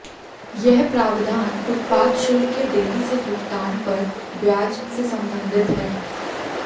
यह प्रावधान उत्पाद शुल्क के देरी से भुगतान पर ब्याज से संबंधित है